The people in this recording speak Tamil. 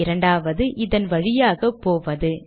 இரண்டாவது இதன் வழியாக போவது